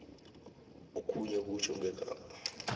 okhunye kutjho ngegama